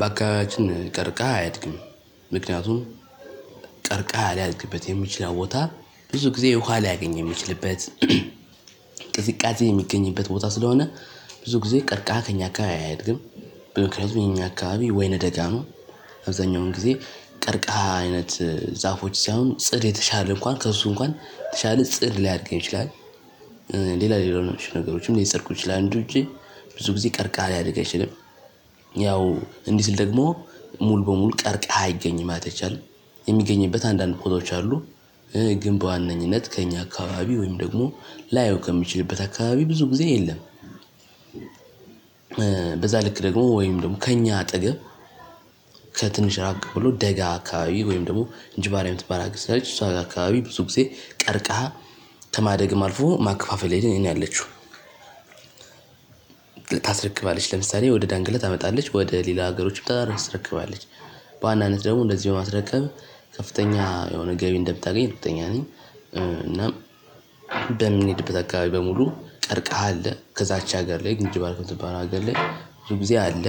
በአካባቢያችን ቀርከሃ አያድግም። ምክንያቱም ቀርከሃ ሊያድግበት የሚችለው ቦታ ብዙ ጊዜ ውሃ ሊያገኝ የሚችልበት ቅዝቃዜ የሚገኝበት ቦታ ስለሆነ ብዙ ጊዜ ቀርቀሃ ከእኛ አካባቢ አያድግም። ምክንያቱም የእኛ አካባቢ ወይነ ደጋ ነው። አብዛኛውን ጊዜ ቀርቀሃ አይነት ዛፎች ሳይሆን ጽድ የተሻለ እንኳን ከእሱ እንኳን የተሻለ ጽድ ሊያድግ ይችላል። ሌላ ሌሎች ነገሮችም ሊፀድቁ ይችላሉ እንጂ ብዙ ጊዜ ቀርከሃ ሊያድግ አይችልም። ያው እንዲ ስል ደግሞ ሙሉ በሙሉ ቀርከሃ አይገኝም ማለት አይቻልም። የሚገኝበት አንዳንድ ቦታዎች አሉ። ግን በዋነኝነት ከእኛ አካባቢ ወይም ደግሞ ላየው ከምችልበት አካባቢ ብዙ ጊዜ የለም። በዛ ልክ ደግሞ ወይም ደግሞ ከኛ አጠገብ ከትንሽ ራቅ ብሎ ደጋ አካባቢ ወይም ደግሞ እንጅባራ የምትባል ሀገር ስላለች እሷ ጋር አካባቢ ብዙ ጊዜ ቀርከሃ ከማደግም አልፎ ማከፋፈል ላይ ነው ያለችው። ልታስረክባለች ለምሳሌ ወደ ዳንግለ ታመጣለች ወደ ሌላ ሀገሮችም ታስረክባለች። በዋናነት ደግሞ እንደዚሁ በማስረከብ ከፍተኛ የሆነ ገቢ እንደምታገኝ እርግጠኛ ነኝ። እናም በምንሄድበት አካባቢ በሙሉ ቀርቀሃ አለ ከዛች ሀገር ላይ እንጂባራ ከምትባለው ሀገር ላይ ብዙ ጊዜ አለ።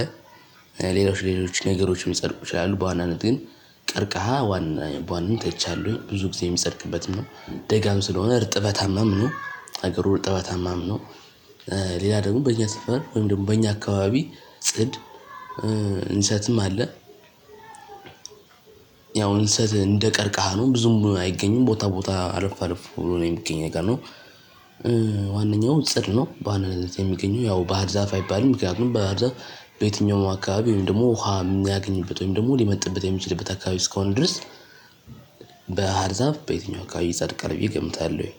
ሌሎች ሌሎች ነገሮችም ሊፀድቁ ይችላሉ በዋናነት ግን ቀርቀሃ በዋናነት አይቻለሁኝ ብዙ ጊዜ የሚጸድቅበትም ነው ደጋም ስለሆነ እርጥበታማም ነው ሀገሩ እርጥበታማም ነው። ሌላ ደግሞ በእኛ ሰፈር ወይም ደግሞ በእኛ አካባቢ ጽድ እንሰትም አለ። ያው እንሰት እንደቀርከሀ ነው ብዙም አይገኝም ቦታ ቦታ አለፍ አለፍ ብሎ ነው የሚገኝ ነገር ነው። ዋነኛው ጽድ ነው በዋናነት የሚገኘው ያው በሃር ዛፍ አይባልም ምክንያቱም በሃር ዛፍ በየትኛውም አካባቢ ወይም ደግሞ ውሃ የሚያገኝበት ወይም ደግሞ ሊመጥበት የሚችልበት አካባቢ እስከሆነ ድረስ በሀርዛፍ በየትኛው አካባቢ ይፀድቃል። ብዬ ገምታለውይ።